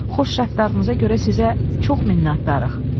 Xoş rəftarınıza görə sizə çox minnətdarıq.